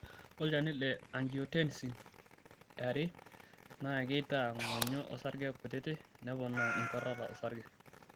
Ore olchani le Angiotensin ii naa keitaa ng'onyo osarge kutiti neponaa enkuatata osarge.